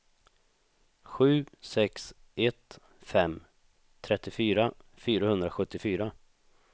sju sex ett fem trettiofyra fyrahundrasjuttiofyra